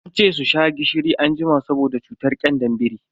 Ance su sha gishiri anjima saboda cutar kyandar biri.